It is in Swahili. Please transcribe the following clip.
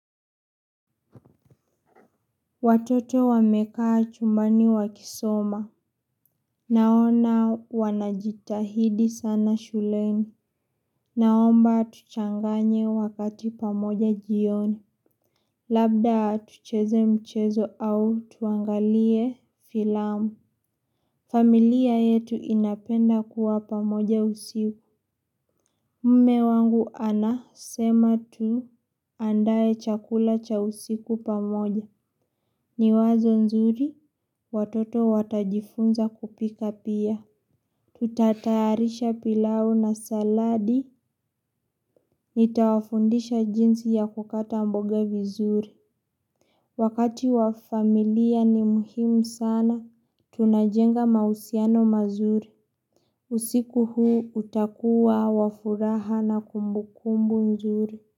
Watoto wamekaa chumbani wakisoma. Naona wanajitahidi sana shuleni. Naomba tuchanganye wakati pamoja jioni. Labda tucheze mchezo au tuangalie filamu. Familia yetu inapenda kuwa pamoja usiku. Mme wangu anasema tu andae chakula cha usiku pamoja. Ni wazo nzuri, watoto watajifunza kupika pia. Tutatayarisha pilau na saladi, nitawafundisha jinsi ya kukata mboga vizuri. Wakati wa familia ni muhimu sana, tunajenga mahusiano mazuri. Usiku huu utakuwa wa furaha na kumbukumbu nzuri.